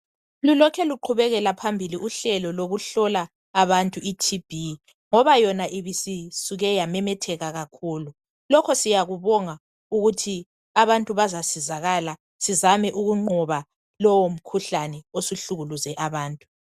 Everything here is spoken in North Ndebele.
Lulokhe luqhubekela phambili uhlelo lokuhlola abantu iTB ngoba yona ibisisuke yamemetheka kakhulu. Lokho siyakubonga ukuthi abantu bazasizakala sizame ukunqoba lowo mkhuhlane osuhlukuluze abantu